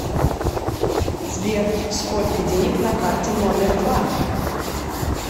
сбер сколько денег на карте номер два